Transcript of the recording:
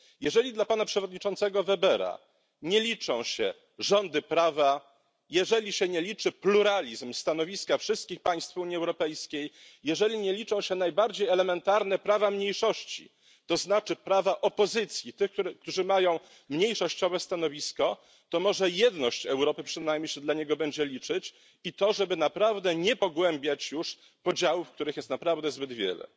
Jeżeli dla pana przewodniczącego Webera nie liczą się rządy prawa, jeżeli się nie liczy pluralizm stanowiska wszystkich państw Unii Europejskiej, jeżeli nie liczą się najbardziej elementarne prawa mniejszości, to znaczy prawa opozycji, tych, którzy mają mniejszościowe stanowisko, to może jedność Europy przynajmniej się dla niego będzie liczyć i to, żeby naprawdę nie pogłębiać już podziałów, których jest naprawdę zbyt wiele.